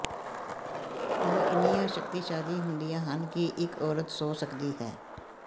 ਉਹ ਇੰਨੀਆਂ ਸ਼ਕਤੀਸ਼ਾਲੀ ਹੁੰਦੀਆਂ ਹਨ ਕਿ ਇਕ ਔਰਤ ਸੌਂ ਸਕਦੀ ਹੈ